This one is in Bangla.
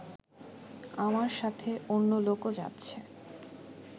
আমার সাথে অন্য লোকও যাচ্ছে